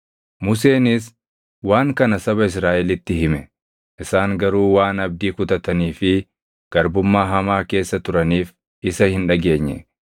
Museenis waan kana saba Israaʼelitti hime; isaan garuu waan abdii kutatanii fi garbummaa hamaa keessa turaniif isa hin dhageenye.